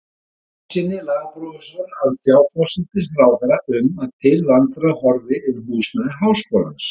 Jónssyni, lagaprófessor, að tjá forsætisráðherra um að til vandræða horfði um húsnæði háskólans.